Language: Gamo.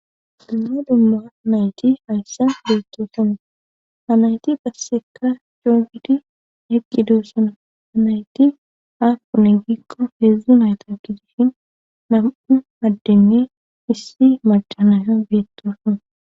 dumma dumma nayti hayssa beettoosono hanayti passekka coogiti eqqi doosonu hanayti hapune gikko heedzdzu nayta kizishin nam7u addenne issi macanaya beettosona